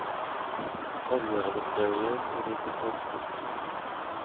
Avgörandet dröjer och det är inte konstigt.